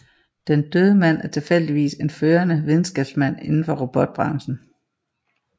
Den døde mand er tilfældigvis en førende videnskabsmand indenfor robotbranchen